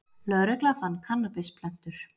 Lögregla fann kannabisplöntur